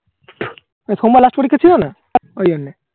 সোমবার Last পরীক্ষা ছিলোনা ওই জন্যে